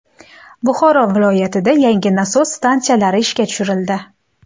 Buxoro viloyatida yangi nasos stansiyalari ishga tushirildi.